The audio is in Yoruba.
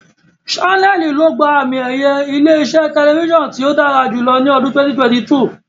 Ṣánẹ́ẹ̀lì ló gba àmi-ẹ̀yẹ ilé-iṣẹ́ tẹlifíṣàn tí ó dára jùlọ ní ọdún 2022.